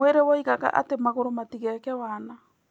Mwĩrĩ woigaga atĩ magũrũ matigeke wana.